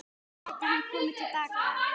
Gæti hann komið til baka?